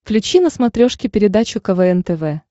включи на смотрешке передачу квн тв